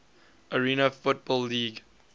arena football league